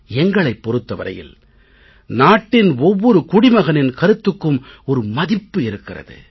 எங்களைப் பொறுத்த வரையில் நாட்டின் ஒவ்வொரு குடிமகனின் கருத்துக்கும் ஒரு மதிப்பு இருக்கிறது